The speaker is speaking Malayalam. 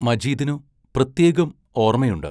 മജീദിനു പ്രത്യേകം ഓർമ്മയുണ്ട്.